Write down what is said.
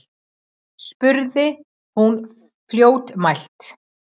spurði hún fljótmælt.